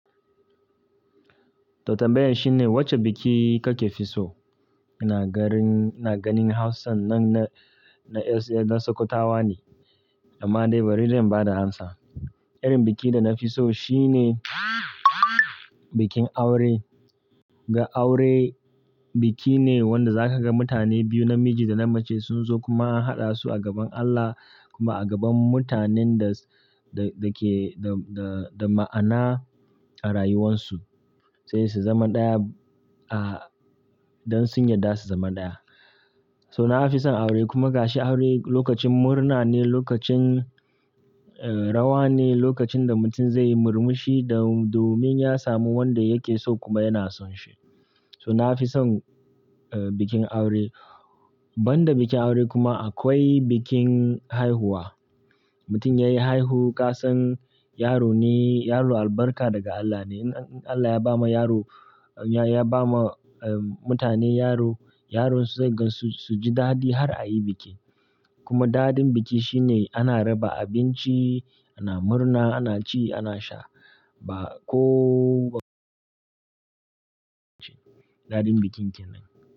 To tambayan shine wacce biki kakefi so? Ina ganin Hausan nan na Sokotawa ne, amma dai bari dai in ba da amsa. Irin bikin da nafi so shine bikin aure. Ga aure biki ne wanda zaka ga mutane biyu namiji da na mace sun zo kuma an haɗa su a gaban Allah kuma a gaban mutanen da, da, da ke, da, da, da ma'ana a rayuwansu, sai su zama ɗaya, ah, don sun yarda su zama ɗaya. So nafi son aure kuma ga shi aure lokacin murna ne, lokacin, eh, rawa ne, lokacin da mutum zai yi murmushi da domin ya samu wanda yake so kuma yana son shi. So nafi son, eh, bikin aure. Banda bikin aure kuma akwai bikin haihuwa. Mutum yayi haihu, ka san yaro ne, yaro albarka daga Allah ne. In Allah ya ba ma yaro, ya ba ma, en, mutane yaro, yaronsu zai gan su, su ji daɗi har a yi biki. Kuma daɗin biki shine ana raba abinci, ana murna, ana ci, ana sha. Ba kow-- daɗin bikinki nan.